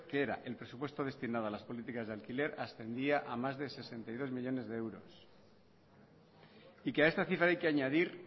que era el presupuesto destinado a las políticas de alquiler ascendía a más de sesenta y dos millónes de euros y que a esta cifra hay que añadir